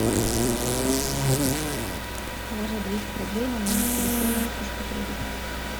положи двести рублей на номер телефона ксюши петровой